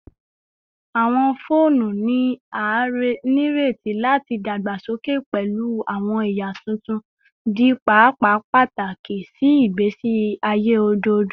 Awọn foonu ni a nireti lati dagbasoke pẹlu awọn ẹya tuntun, di paapaa pataki si igbesi aye ojoojumọ